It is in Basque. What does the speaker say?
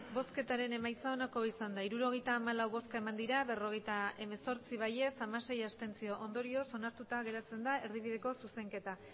emandako botoak hirurogeita hamalau bai berrogeita hemezortzi abstentzioak hamasei ondorioz onartuta geratzen da erdibideko zuzenketa